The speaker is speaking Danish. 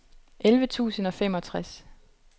elleve tusind og femogtres